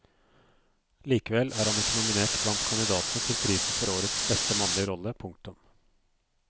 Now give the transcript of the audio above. Likevel er han ikke nominert blant kandidatene til prisen for årets beste mannlige rolle. punktum